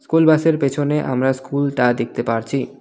School বাসের পেছনে আমরা স্কুলটা দেখতে পারছি .